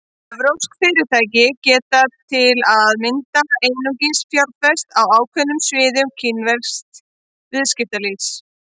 Evrópsk fyrirtæki geta til að mynda einungis fjárfest á ákveðnum sviðum kínversks viðskiptalífs.